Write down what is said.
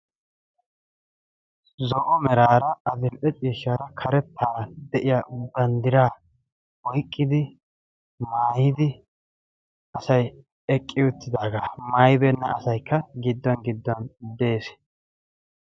zo7o meraara adil7e ciishshaara karettaara de7iya banddiraa oiqqidi maayidi asai eqqi uttidaagaa maayibeenna asaikka giddon giddon de7ees